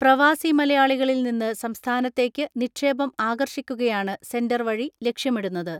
പ്രവാസി മലയാളികളിൽനിന്ന് സംസ്ഥാനത്തേയ്ക്ക് നിക്ഷേപം ആകർഷിക്കുകയാണ് സെന്റർ വഴി ലക്ഷ്യമിടുന്നത്.